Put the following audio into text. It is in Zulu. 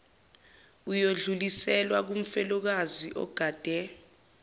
uyodluliselwa kumfelokazi ogade